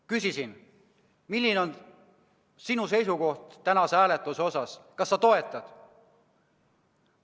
Küsisin, milline on tema seisukoht tänase hääletuse osas, kas ta toetab.